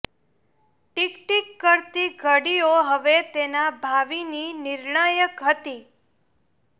tick ટીક કરતી ઘડીઓ હવે તેના ભાવિની નિર્ણાયક હતી